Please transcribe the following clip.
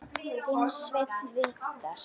Þinn Sveinn Viðar.